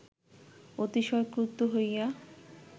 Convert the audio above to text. অতিশয় ক্রুদ্ধ হইয়া